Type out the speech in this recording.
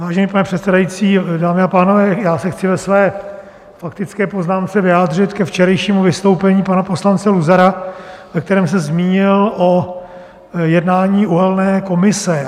Vážený pane předsedající, dámy a pánové, já se chci ve své faktické poznámce vyjádřit ke včerejšímu vystoupení pana poslance Luzara, ve kterém se zmínil o jednání uhelné komise.